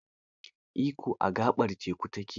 Ikko, a gaɓar teku ta ke.